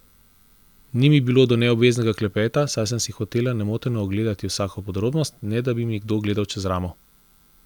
Ni mi bilo do neobveznega klepeta, saj sem si hotela nemoteno ogledati vsako podrobnost, ne da bi mi kdo gledal čez ramo.